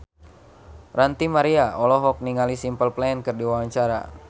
Ranty Maria olohok ningali Simple Plan keur diwawancara